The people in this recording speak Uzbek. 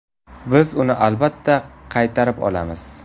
Biz uni albatta qaytarib olamiz.